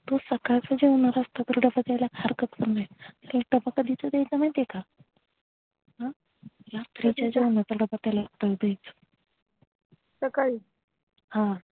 तू सकाळ चा जेवणाचा डब्बा देलातर हरकत नाही तू डब्बा कधीचा द्यायचा माहितेका रात्रीच्या जेनाचा डब्बा द्यायचा सकाळी हा